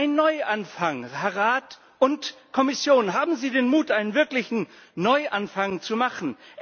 Ein Neuanfang Rat und Kommission, haben Sie den Mut, einen wirklichen Neuanfang zu machen!